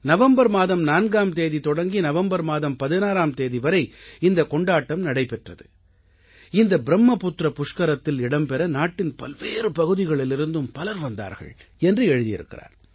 November மாதம் 4ஆம் தேதி தொடங்கி நவம்பர் மாதம் 16ஆம் தேதி வரை இந்தக் கொண்டாட்டம் நடைபெற்றது இந்த ப்ரும்மபுத்திரப் புஷ்கரத்தில் இடம்பெற நாட்டின் பல்வேறு பகுதிகளிலிருந்தும் பலர் வந்தார்கள் என்று எழுதியிருக்கிறார்